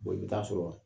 i bɛ taa sɔrɔ